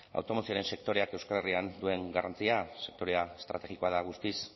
automozioaren sektoreak euskal herrian duen garrantzia sektorea estrategikoa da guztiz